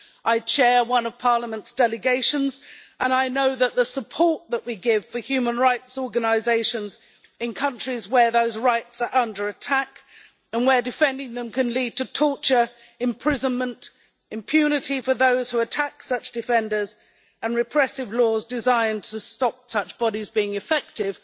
I chair one of Parliament's delegations and I know that the support that we give for human rights organisations in countries where those rights are under attack and where defending them can lead to torture, imprisonment, impunity for those who attack such defenders and repressive laws designed to stop such bodies being effective,